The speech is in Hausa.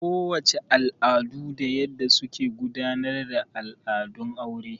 Ko wace al'adu da yanda suke gudanar da al'adun aure.